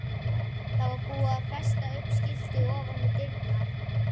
Það var búið að festa upp skilti ofan við dyrnar.